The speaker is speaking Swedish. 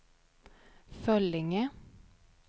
Föllinge